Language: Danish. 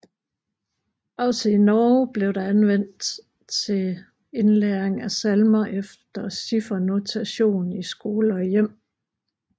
Også i Norge blev det anvendt til indlæring af salmer efter ciffernotation i skole og hjem